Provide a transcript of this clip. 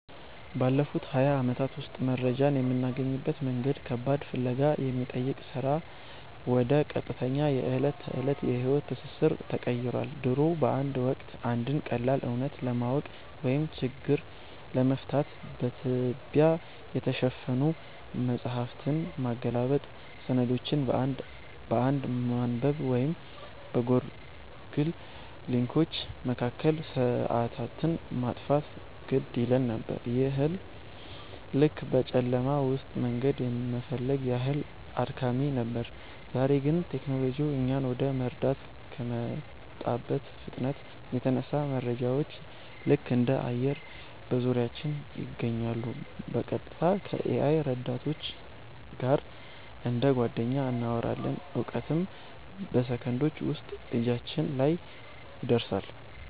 ባለፉት ሃያ ዓመታት ውስጥ መረጃን የምናገኝበት መንገድ ከባድ ፍለጋ ከሚጠይቅ ሥራ ወደ ቀጥተኛ የዕለት ተዕለት የሕይወት ትስስር ተቀይሯል። ድሮ በአንድ ወቅት፣ አንድን ቀላል እውነት ለማወቅ ወይም ችግር ለመፍታት በትቢያ የተሸፈኑ መጻሕፍትን ማገላበጥ፣ ሰነዶችን አንድ በአንድ ማንበብ ወይም በጎግል ሊንኮች መካከል ሰዓታትን ማጥፋት ግድ ይለን ነበር፤ ይህም ልክ በጨለማ ውስጥ መንገድ የመፈለግ ያህል አድካሚ ነበር። ዛሬ ግን ቴክኖሎጂው እኛን ወደ መረዳት ከመጣበት ፍጥነት የተነሳ፣ መረጃዎች ልክ እንደ አየር በዙሪያችን ይገኛሉ—በቀጥታ ከ-AI ረዳቶች ጋር እንደ ጓደኛ እናወራለን፣ እውቀትም በሰከንዶች ውስጥ እጃችን ላይ ይደርሳል።